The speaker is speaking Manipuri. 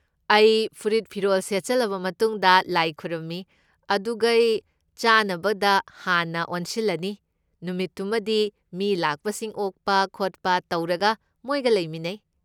ꯑꯩ ꯐꯨꯔꯤꯠ ꯐꯤꯔꯣꯜ ꯁꯦꯠꯆꯜꯂꯕ ꯃꯇꯨꯡꯗ, ꯂꯥꯏ ꯈꯨꯔꯨꯝꯃꯤ, ꯑꯗꯨꯒꯩ ꯆꯥꯅꯕꯗ ꯍꯥꯟꯅ ꯑꯣꯟꯁꯤꯜꯂꯅꯤ, ꯅꯨꯃꯤꯠꯇꯨꯃꯒꯤ ꯃꯤ ꯂꯥꯛꯄꯁꯤꯡ ꯑꯣꯛꯄ ꯈꯣꯠꯄ ꯇꯧꯔꯒ ꯃꯣꯏꯒ ꯂꯩꯃꯤꯟꯅꯩ꯫